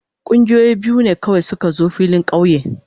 Kungiyoyi biyu ne kawai su ka zo filin kauye.